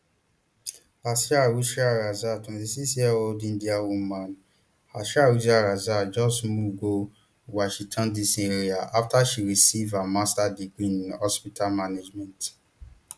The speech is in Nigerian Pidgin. asra hussain raza twenty-sixyearold indiana woman asra hussain raza just move go washington dc area afta she receive her masters degree in hospital management